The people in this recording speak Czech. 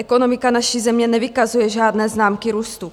Ekonomika naší země nevykazuje žádné známky růstu.